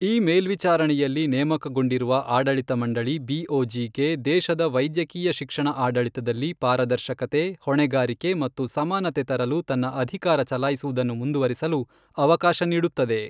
ಈ ಮೇಲ್ವಿಚಾರಣೆಯಲ್ಲಿ ನೇಮಕಗೊಂಡಿರುವ ಆಡಳಿತ ಮಂಡಳಿ ಬಿಓಜಿ ಗೆ ದೇಶದ ವೈದ್ಯಕೀಯ ಶಿಕ್ಷಣ ಆಡಳಿತದಲ್ಲಿ ಪಾರದರ್ಶಕತೆ, ಹೊಣೆಗಾರಿಕೆ ಮತ್ತು ಸಮಾನತೆ ತರಲು ತನ್ನ ಅಧಿಕಾರ ಚಲಾಯಿಸುವುದನ್ನು ಮುಂದುವರಿಸಲು ಅವಕಾಶ ನೀಡುತ್ತದೆ.